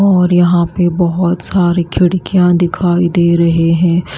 और यहां पे बहोत सारी खिड़कियां दिखाई दे रहे हैं।